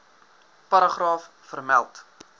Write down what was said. paragraaf vermeld